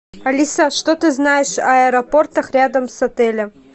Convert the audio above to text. алиса что ты знаешь о аэропортах рядом с отелем